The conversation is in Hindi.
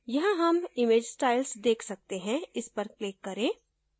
यहाँ हम image styles देख सकते हैं इस पर click करें